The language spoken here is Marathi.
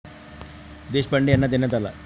देशपांडे यांना देण्यात आला.